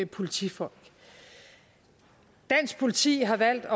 politifolk dansk politi har valgt at